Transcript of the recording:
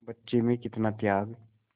बच्चे में कितना त्याग